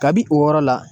Kabi o yɔrɔ la